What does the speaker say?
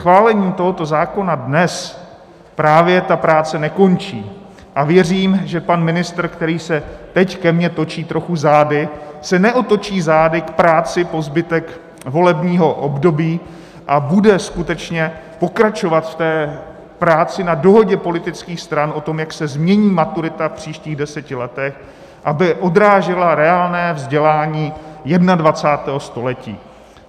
Schválením tohoto zákona dnes právě ta práce nekončí a věřím, že pan ministr, který se teď ke mně točí trochu zády, se neotočí zády k práci po zbytek volebního období a bude skutečně pokračovat v té práci na dohodě politických stran o tom, jak se změní maturita v příštích deseti letech, aby odrážela reálné vzdělání 21. století.